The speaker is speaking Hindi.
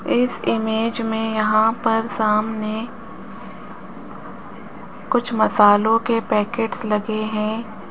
इस इमेज में यहां पर सामने कुछ मसालो के पैकेट्स लगे हैं।